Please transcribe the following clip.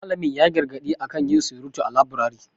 Malamin ya yi gargadi a kan yin surutu a laburari.